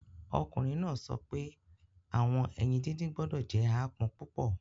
Ọkunrin naa sọ pe awọn eyin didin gbọdọ jẹ aapọn pupọ